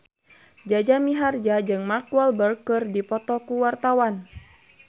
Jaja Mihardja jeung Mark Walberg keur dipoto ku wartawan